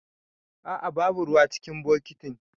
A'a babu ruwa cikin bokitin.